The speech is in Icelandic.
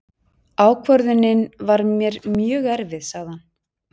Ákvörðunin var mér mjög erfið, sagði hann.